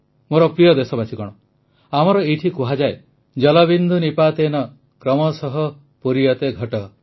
ମୋର ପ୍ରିୟ ଦେଶବାସୀଗଣ ଆମର ଏଇଠି କୁହାଯାଏ ଜଳବିନ୍ଦୁ ନିପାତେନ କ୍ରମଶଃ ପୂର୍ଜତେ ଘଟଃ